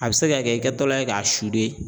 A bɛ se ka kɛ i kɛtɔla ye k'a